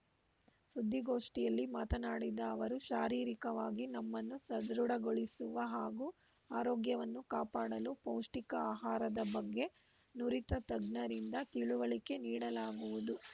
ಸುದ್ದಿಗೋಷ್ಠಿಯಲ್ಲಿ ಮಾತನಾಡಿದ ಅವರು ಶಾರೀರಿಕವಾಗಿ ನಮ್ಮನ್ನು ಸದೃಢಗೊಳಿಸುವ ಹಾಗೂ ಆರೋಗ್ಯವನ್ನು ಕಾಪಾಡಲು ಪೌಷ್ಠಿಕ ಆಹಾರದ ಬಗ್ಗೆ ನುರಿತ ತಜ್ಞರಿಂದ ತಿಳುವಳಿಕೆ ನೀಡಲಾಗುವುದು